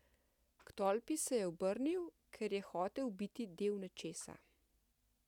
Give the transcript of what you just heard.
K tolpi se je obrnil, ker je hotel biti del nečesa.